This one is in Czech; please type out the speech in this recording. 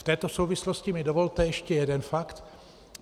V této souvislosti mi dovolte ještě jeden fakt.